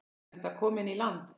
Enda kominn í land.